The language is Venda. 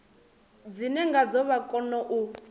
dzine ngadzo vha kona u